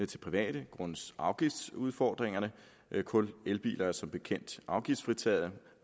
til private grundet afgiftsudfordringerne kun elbiler er som bekendt afgiftsfritaget